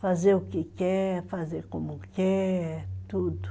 Fazer o que quer, fazer como quer, tudo.